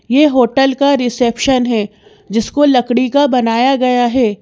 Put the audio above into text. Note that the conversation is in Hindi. यह होटल का रिसेप्शन है जिसको लकड़ी का बनाया गया है।